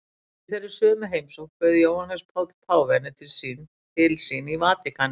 Í þeirri sömu heimsókn bauð Jóhannes Páll páfi henni til sín í Vatíkanið.